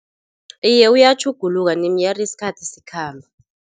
Iye, uyatjhuguluka nie meer isikhathi sikhamba.